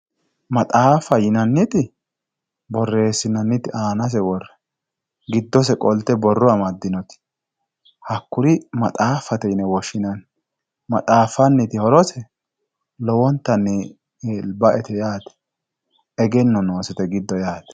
maxaaffa yinanniti borreesssinooonnite aanase worre giddose qolte borro amaddinote hakkuri maxaaffate yine woshshinanni maxaaffanniti horosi lowontanni baete yaate egenno noosete giddo yaate.